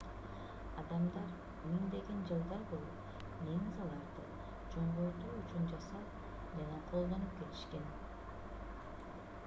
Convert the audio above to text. адамдар миңдеген жылдар бою линзаларды чоңойтуу үчүн жасап жана колдонуп келишкен